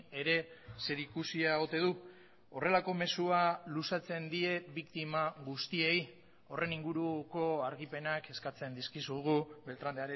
ere zerikusia ote du horrelako mezua luzatzen die biktima guztiei horren inguruko argipenak eskatzen dizkizugu beltrán